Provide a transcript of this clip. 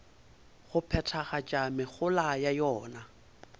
go phethagatša mehola ya yona